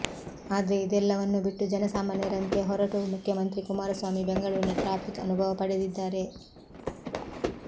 ಆದ್ರೆ ಇದೆಲ್ಲವನ್ನೂ ಬಿಟ್ಟು ಜನಸಾಮಾನ್ಯರಂತೆ ಹೊರಟು ಮುಖ್ಯಮಂತ್ರಿ ಕುಮಾರಸ್ವಾಮಿ ಬೆಂಗಳೂರಿನ ಟ್ರಾಫಿಕ್ ಅನುಭವ ಪಡೆದಿದ್ದಾರೆ